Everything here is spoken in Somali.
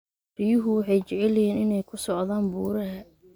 Riyuhu waxay jecel yihiin inay ku socdaan buuraha.